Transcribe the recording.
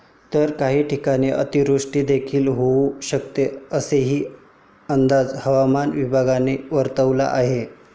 तर काही ठिकाणी अतिवृष्टीदेखील होऊ शकते, असाही अंदाज हवामान विभागाने वर्तविला आहे.